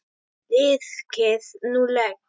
Liðkið nú legg!